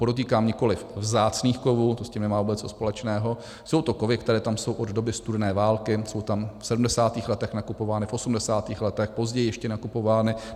Podotýkám, nikoliv vzácných kovů, to s tím nemá vůbec co společného, jsou to kovy, které tam jsou od doby studené války, jsou tam v 70. letech nakupovány, v 80. letech, později ještě nakupovány.